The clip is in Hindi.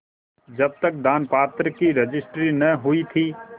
जब तक दानपत्र की रजिस्ट्री न हुई थी